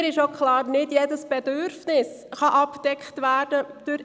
Mir ist auch klar, dass nicht jedes Bedürfnis durch E-Mobilität abgedeckt werden kann.